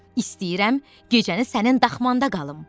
İstəyirəm gecəni sənin daxmanda qalım.